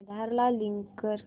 आधार ला लिंक कर